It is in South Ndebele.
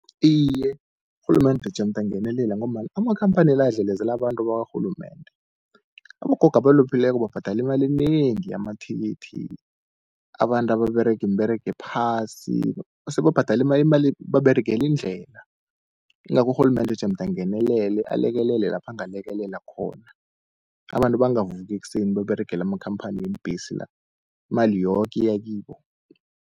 Iye, rhulumende jemde angenelele, ngombana amakhamphani la adlelezela abantu bakarhulumende. Abogogo abalupheleko babhadala imali enengi yamathikithi, abantu ababerega imiberego ephasi sebabhadala imali baberegela indlela. Ingakho urhulumende jemde angenelele, alekelele lapha angalekelela khona. Abantu bangavuki ekuseni bayoberegela amakhamphani weembhesi la, imali yoke iya kibo.